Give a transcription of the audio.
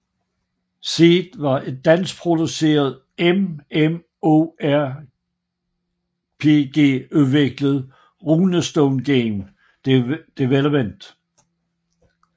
Seed var et danskproduceret MMORPG udviklet af Runestone Game Development